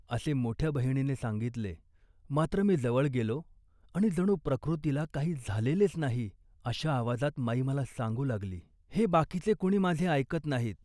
" असे मोठ्या बहिणीने सांगितले, मात्र मी जवळ गेलो आणि जणू प्रकृतीला काही झालेलेच नाही अशा आवाजात माई मला सांगू लागली. हे बाकीचे कुणी माझे ऐकत नाहीत